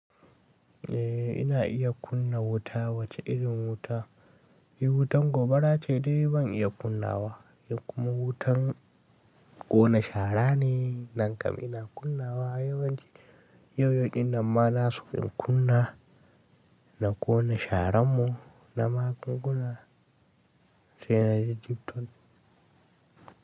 Eh ina iya kunna wuta wace irin wuta? Eh wutan gobara ce dai ban iya kunnawa in kuma wutan ƙona shara ne nan kam ina kunnawa yawanci. Yau yau din nan ma na so in kunna na ƙona sharan mu na magunguna sai na je TikTok.